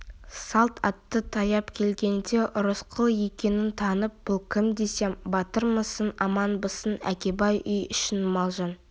салт атты таяп келгенде рысқұл екенін танып бұл кім десем батырмысың аманбысың әкебай үй ішің мал-жан